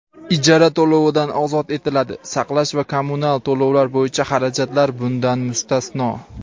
ijara to‘lovidan ozod etiladi (saqlash va kommunal to‘lovlar bo‘yicha xarajatlar bundan mustasno);.